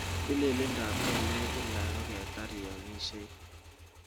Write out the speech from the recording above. Tililindo ap kelek Kila koketar iamishie